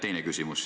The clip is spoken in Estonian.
Teine küsimus.